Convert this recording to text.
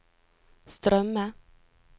strømme